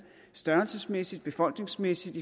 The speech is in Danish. størrelsesmæssigt befolkningsmæssigt